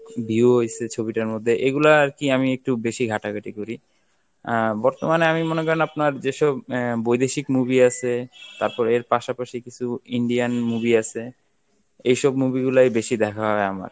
view হইছে ছবিটার মধ্যে এগুলা আর কি আমি একটু বেশি ঘাটাঘাটি করি. আহ বর্তমানে আমি মনে করেন আপনার যেসব আহ বৈদেশিক movie আছে তারপরে এর পাশাপাশি কিছু Indian movie আছে, এইসব movie গুলাই বেশি দেখা হয় আমার